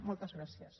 moltes gràcies